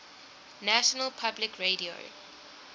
national public radio